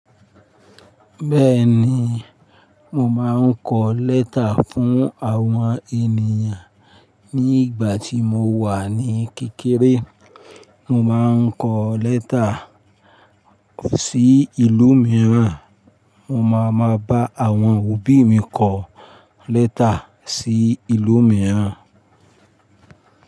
Bẹ́ẹ̀ni, mo máa ń kọ lẹ́tà fún àwọn ènìyàn ní ìgbà tí mo wà ní kékeré. Mo ma ń kọ lẹ́tà sí ìlú mìíràn, mo ma ma bá àwọn òbí mi kọ lẹ́tà sí ìlú mìíràn.